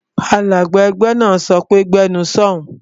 Alága ẹgbẹ́ náà, "Gbé ẹnu sọ̀ún!"